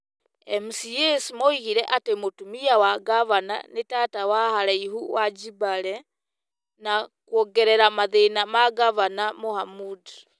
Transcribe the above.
MCAs moigire atĩ mũtumia wa ngavana nĩ tata wa haraihu wa Jibale - na kwongerera mathĩna ma ngavana Mohamud -